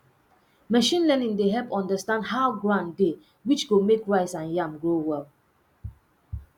machine learning dey help understand how ground dey which go make rice and yam grow well